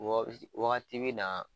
Wɔ bi se wagati be na